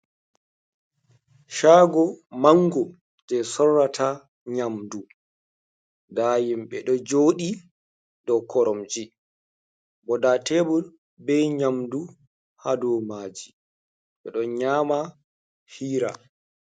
Shago mango je sorrata nyamdu, nda himɓe ɗo joɗi dow koromje bo nda tebul be nyamdu ha dow maji, ɓeɗo nyama hiira,